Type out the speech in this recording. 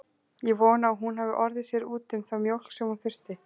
Ég vona að hún hafi orðið sér úti um þá mjólk sem hún þurfti.